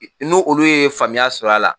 No olu ye faamuya sɔrɔ a la